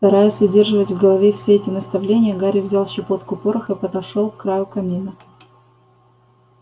стараясь удерживать в голове все эти наставления гарри взял щепотку пороха и подошёл к краю камина